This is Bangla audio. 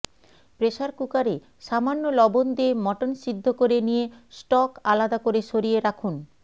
প্রেসার কুকারে সামান্য লবন দিয়ে মটন সিদ্ধ করে নিয়ে স্টক আলাদা করে সরিয়ে রাখুন